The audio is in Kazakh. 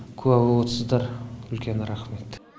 куә болып отсыздар үлкен рахмет